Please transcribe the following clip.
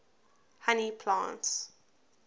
honey plants